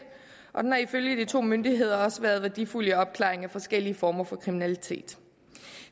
og den har ifølge de to myndigheder også været værdifuld i opklaringen af forskellige former for kriminalitet